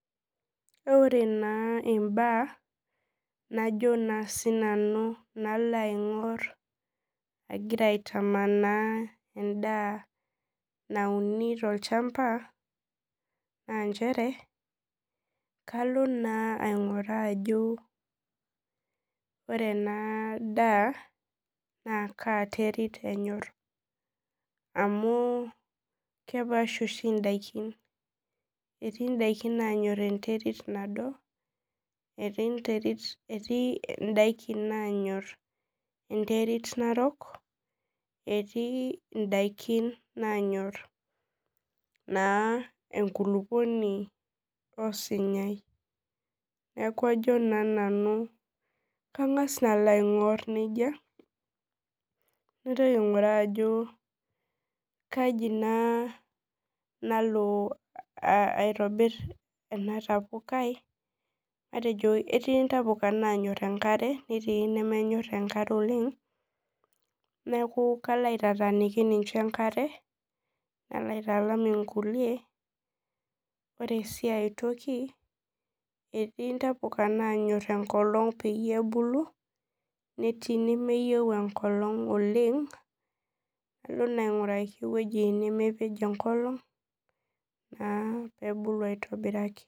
Ore na imbaa najo na sinanu nalo aingor agira aitamanaa endaa na uni tolchamba na nchere kalo nainguraa ajobore enadaa kaaterit enyor amu kepaasha ndakini etii ndakin nanyor enterit nado netii nanyor enterit narok etii ndakin nanyor naa enkulukuoni osunyai neaku ajo nanu kangas alo aingur nejjia naitoki naingur kai nalo aitobir entapukai etii ntapuka nanyor enkare netii nemenyor enkare neaku kalo aotataniki enkare nalobaitalam nkulie ore si aitoki etii ntapuka nanyor enkolong pebuku netii nemenyor oleng nilo ainguraki ewoi nemenyor oleng na pebuku aitobiraki.